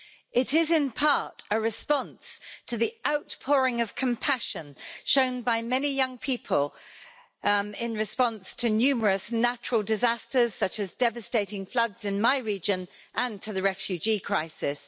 It is, in part, a response to the outpouring of compassion shown by many young people in response to numerous natural disasters, such as devastating floods in my region, and to the refugee crisis.